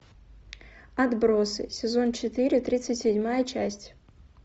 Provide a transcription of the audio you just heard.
отбросы сезон четыре тридцать седьмая часть